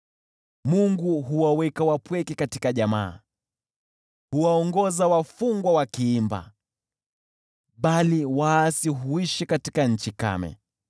Mungu huwaweka wapweke katika jamaa, huwaongoza wafungwa wakiimba, bali waasi huishi katika nchi kame.